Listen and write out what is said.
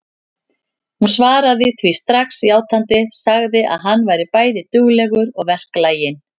Hún svaraði því strax játandi, sagði að hann væri bæði duglegur og verklaginn.